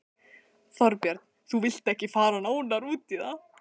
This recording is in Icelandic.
Þorbjörn: Þú vilt ekki fara nánar út í það?